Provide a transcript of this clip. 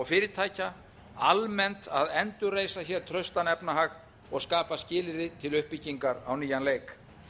og fyrirtækja almennt að endurreisa hér traustan efnahag og skapa skilyrði til uppbyggingar á nýjan leik